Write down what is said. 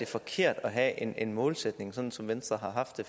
forkert at have en en målsætning sådan som venstre har haft det